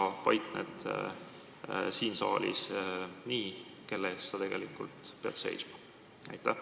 Ehk paiknemine siin saalis kajastab seda, kelle eest tegelikult peab seisma?